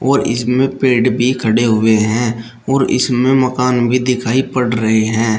और इसमें पेड़ भी खड़े हुए हैं और इसमें मकान भी दिखाई पड़ रहे हैं।